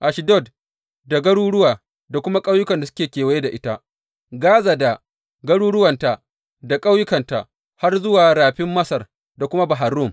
Ashdod da garuruwa da kuma ƙauyukan da suke kewaye da ita, Gaza da garuruwanta da ƙauyukanta har zuwa Rafin Masar da kuma Bahar Rum.